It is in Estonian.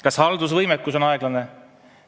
Kas haldusvõimekus on vähene?